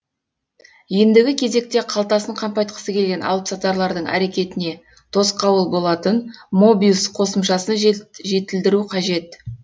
ендігі кезекте қалтасын қампайтқысы келген алыпсатарлардың әрекетіне тосқауыл болатын мобиус қосымшасын жетілдіру қажет